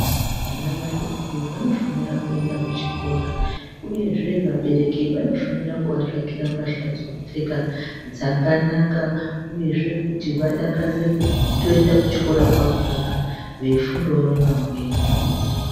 Vana vadoko vanofanira kuenda kuchikora uyezve vabereki vanofanira kuatsvakirw mbahla dzokupfeka dzakanaka uyezve kuti vadakarire kutoenda kuchikora kwakona veifundawo nevamweni.